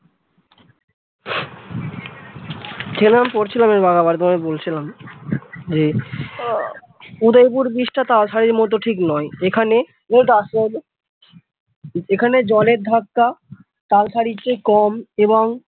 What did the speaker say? কি যেন আমি পড়ছিলাম তোমাকে বলছিলাম যে আহ উদয়পুর bridge টা তালসারীর মতো ঠিক নয় এখানে এই একটু আসতে দাও তো এখানে জলের ধাক্কা তালসারীর চেয়ে কম এবং ।